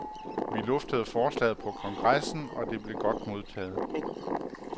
Vi luftede forslaget på kongressen, og det blev godt modtaget.